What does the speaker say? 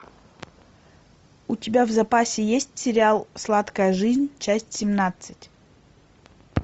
у тебя в запасе есть сериал сладкая жизнь часть семнадцать